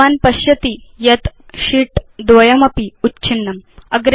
भवान् पश्यति यत् sheet द्वयमपि उच्छिन्नम्